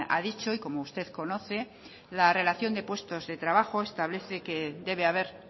ha dicho y como usted conoce la relación de puestos de trabajo establece que debe haber